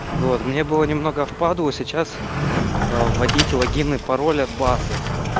вот мне было немного впадлу сейчас вводить логин и пароль от базы